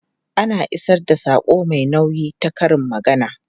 Ana isar da saƙo mai nauyi ta karin magana.